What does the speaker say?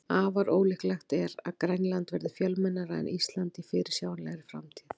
Afar ólíklegt er að Grænland verði fjölmennara en Ísland í fyrirsjáanlegri framtíð.